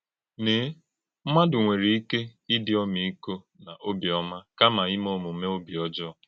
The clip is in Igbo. Ǹeè, ḿmádụ́ nwere ike ìdí ọ́mị́kọ na òbíọ́má, kàmá ímè òmùmè òbí ọ́jọọ.